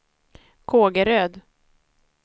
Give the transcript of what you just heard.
Kågeröd